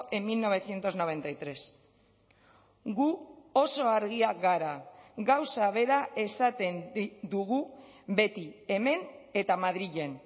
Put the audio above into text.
en mil novecientos noventa y tres gu oso argiak gara gauza bera esaten dugu beti hemen eta madrilen